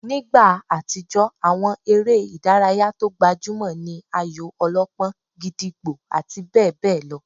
Nígbà àtijó, àwọn eré ìdárayá tó gbajúmọ̀ ní ayò-ọlọ́pọ́n, gídígbò àti bẹ́ẹ̀ bẹ́ẹ̀ lọ